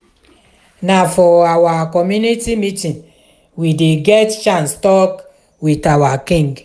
na for our community meeting we dey get chance tok wit our king.